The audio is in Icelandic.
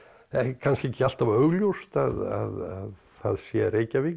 kannski ekki alltaf augljóst að það sé Reykjavík